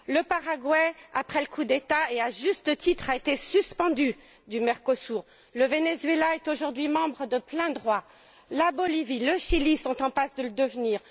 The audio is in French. Le Paraguay, après le coup d'État a, à juste titre, été suspendu du Mercosur. Le Venezuela est aujourd'hui membre de plein droit. La Bolivie, le Chili, sont en passe de le devenir.